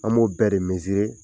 An b'o bɛɛ de mezire.